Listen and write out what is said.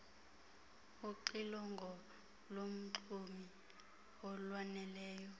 uxilongo lomxumi olwaneleyo